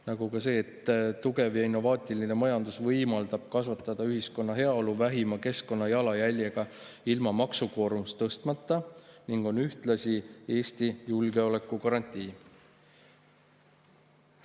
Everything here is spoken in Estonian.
Nagu ka see, et tugev ja innovaatiline majandus võimaldab kasvatada ühiskonna heaolu vähima keskkonnajalajäljega ilma maksukoormust tõstmata ning on ühtlasi Eesti julgeolekugarantii.